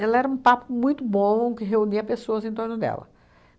Ela era um papo muito bom, que reunia pessoas em torno dela.